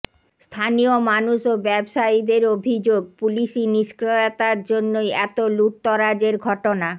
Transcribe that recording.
স্থানীয় মানুষ ও ব্যবসায়ীদের অভিযোগ পুলিশী নিষ্ক্রিয়তার জন্যই এত লুঠতরাজের ঘটনা